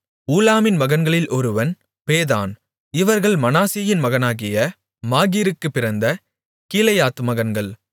ஊலாமின் மகன்களில் ஒருவன் பேதான் இவர்கள் மனாசேயின் மகனாகிய மாகீருக்குப் பிறந்த கீலேயாத் மகன்கள்